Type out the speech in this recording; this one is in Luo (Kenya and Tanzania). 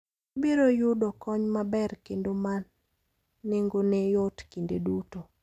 Ibiro yudo kony maber kendo ma nengone yot kinde duto.